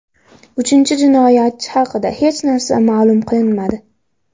Uchinchi jinoyatchi haqida hech narsa ma’lum qilinmadi.